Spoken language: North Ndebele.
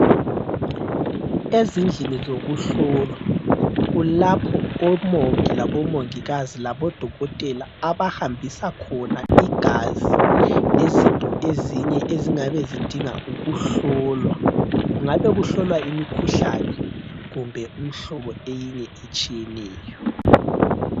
Ezindlini zokuhlolwa kulapho omongi labomongikazi labodokotela abahambisa khona igazi lezinto ezinye ezingabe zidinga ukuhlolwa. Kungabe kuhlolwa imikhuhlane kumbe umhlobo eyinye etshiyeneyo.